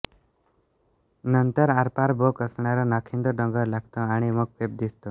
नंतर आरपार भोक असणारा नाखिंद डोंगर लागतो आणि मग पेब दिसतो